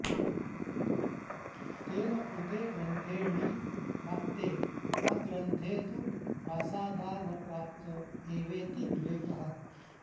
तेन कृते ग्रन्थेऽणि प्राप्ते अग्रन्थे तु प्रासादादावप्राप्त एवेति विवेकः